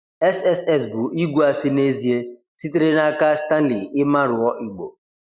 SSS bụ igwe asị n'ezie, sitere n'aka Stanley Imhanruor Igbo.